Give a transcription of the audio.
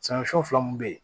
fila mun bɛ yen